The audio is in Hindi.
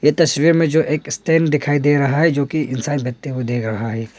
तस्वीर में जो एक स्टैंड दिखाई दे रहा है जो की इनसान कुछ बनाते हुए दिख रहा है।